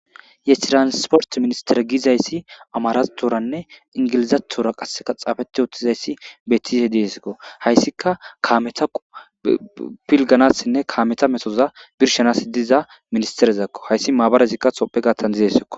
Ye transport minister giizayssi amaaraththooranne inggilizaththoora qassikka tsafeththiuththizayssi beeththiize zeysikko; ha isikka kaametha pilgganaassinne kaametha methotha birshshanaassi diiza ministerethako; ha izi maabara toophphe gaththan deesikko.